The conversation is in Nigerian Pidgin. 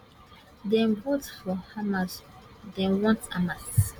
dem vote for hamas dem want hamas